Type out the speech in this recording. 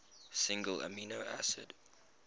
single amino acid